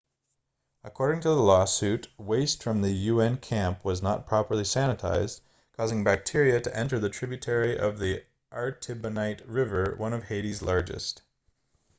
according to the lawsuit waste from the un camp was not properly sanitized causing bacteria to enter the tributary of the artibonite river one of haiti's largest